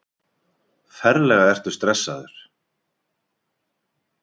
Ferlega ertu stressaður!